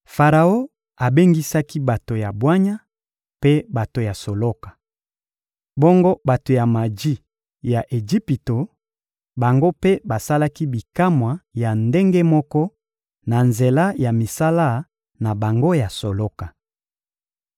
Faraon abengisaki bato ya bwanya mpe bato ya soloka. Bongo bato ya maji ya Ejipito, bango mpe basalaki bikamwa ya ndenge moko na nzela ya misala na bango ya soloka.